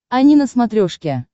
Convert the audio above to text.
ани на смотрешке